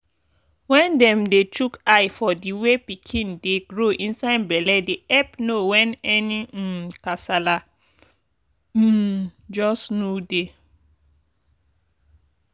wen dem dey chook eye for the way pikin dey grow inside belle dey epp know wen any um kasala um just nu dey.